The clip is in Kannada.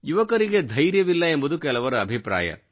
ಯುವಕರಿಗೆ ಧೈರ್ಯವಿಲ್ಲ ಎಂಬುದು ಕೆಲವರ ಅಭಿಪ್ರಾಯ